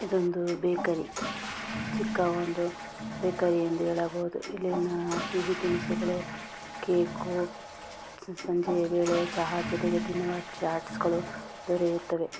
ಇದೊಂದು ಬೇಕರಿ ಚಿಕ್ಕ ಒಂದು ಬೇಕರಿ ಅಂತ ಹೇಳಬಹುದು ಇಲ್ಲಿನ ತಿಂಡಿ ತಿನಿಸುಗಳು ಕೇಕು ಸಂಜೆ ವೇಳೆ ಚಹಾ ಜೊತೆಗೆ ತಿನ್ನುವ ಚಾಟ್ಸ್ಗಳು ದೊರೆಯುತ್ತವೆ.